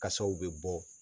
Kasaw bɛ bɔ